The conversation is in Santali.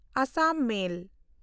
ᱟᱥᱟᱢ ᱢᱮᱞ